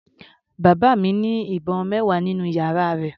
Bàbá mi ní ìbọn mẹwa nínú yàrá rẹ̀.